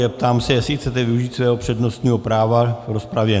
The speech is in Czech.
Ptám se, jestli chcete využít svého přednostního práva v rozpravě.